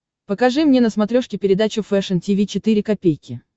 покажи мне на смотрешке передачу фэшн ти ви четыре ка